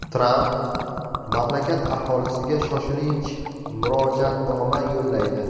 Tramp mamlakat aholisiga shoshilinch murojaatnoma yo‘llaydi.